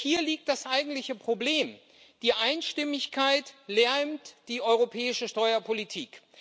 Hier liegt das eigentliche Problem Die Einstimmigkeit lähmt die europäische Steuerpolitik.